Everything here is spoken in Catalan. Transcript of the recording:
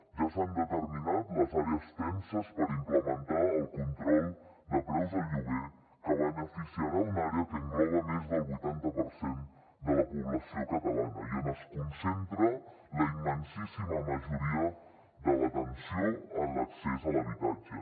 ja s’han determinat les àrees tenses per implementar el control de preus del lloguer que beneficiarà una àrea que engloba més del vuitanta per cent de la població catalana i on es concentra la immensíssima majoria de la tensió en l’accés a l’habitatge